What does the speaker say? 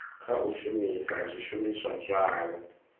kha u shumisa zwishumiswa zwavho